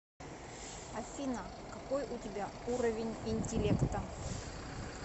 афина какой у тебя уровень интеллекта